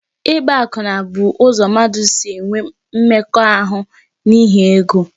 Ịgba akwụna bụ ụzọ mmadụ si enwe mmekọahụ n'ihi ego